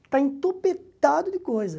Está entupitado de coisa.